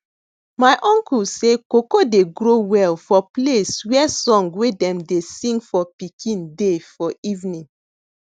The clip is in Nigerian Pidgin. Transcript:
my uncle say cocoa dey grow well for place where song wey dem dey sing for pikin dey for evening